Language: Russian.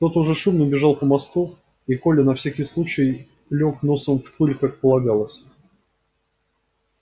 кто то уже шумно бежал по мосту и коля на всякий случай лёг носом в пыль как полагалось